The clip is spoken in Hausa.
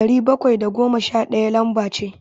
Dari bakwai da goma sha ɗaya lamba ce.